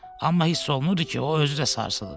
Amma hiss olunurdu ki, o özü də sarsılıb.